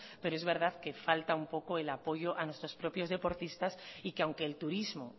pero es verdad que falta un poco el apoyo a nuestros propios deportistas y que aunque el turismo